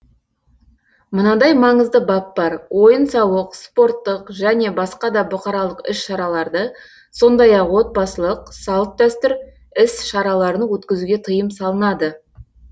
мынадай маңызды бап бар ойын сауық спорттық және басқа да бұқаралық іс шараларды сондай ақ отбасылық салт дәстүр іс шараларын өткізуге тыйым салынады